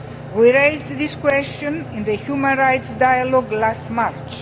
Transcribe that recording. We raised this question in the human rights dialogue last March.